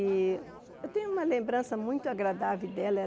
E eu tenho uma lembrança muito agradável dela.